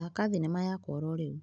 Thaka thinema yakwa ya ororĩu.